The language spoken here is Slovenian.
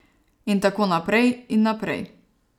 In tako naprej in naprej...